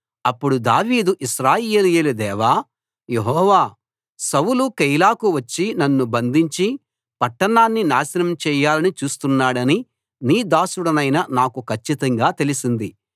అప్పుడు దావీదు ఇశ్రాయేలీయుల దేవా యెహోవా సౌలు కెయీలాకు వచ్చి నన్ను బంధించి పట్టణాన్ని నాశనం చేయాలని చూస్తున్నాడని నీ దాసుడనైన నాకు కచ్చితంగా తెలిసింది